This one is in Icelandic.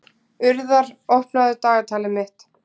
Urðar, opnaðu dagatalið mitt.